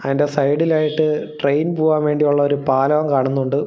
അതിൻറെ സൈഡിലായിട്ട് ട്രെയിൻ പോകാൻ വേണ്ടിയുള്ള ഒരു പാലോം കാണുന്നുണ്ട്.